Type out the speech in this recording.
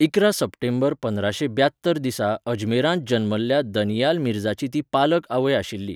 इकरा सप्टेंबर पंदराशे ब्यात्तर दिसा अजमेरांत जल्मल्ल्या दानियाल मिर्झाची ती पालक आवय आशिल्ली.